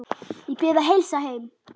Ég bið að heilsa heim.